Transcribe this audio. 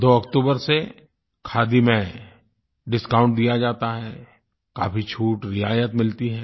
2 अक्टूबर से खादी में डिस्काउंट दिया जाता है काफ़ी छूटरियायत मिलती है